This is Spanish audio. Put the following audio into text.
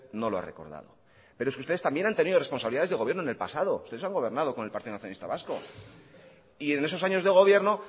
no lo ha recordado pero es que ustedes también han tenido responsabilidades de gobierno en el pasado ustedes han gobernado con el partido nacionalista vasco y en esos años de gobierno